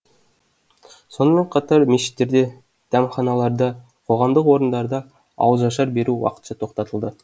сонымен қатар мешіттерде дәмханаларда қоғамдық орындарда ауызашар беру уақытша тоқтатылды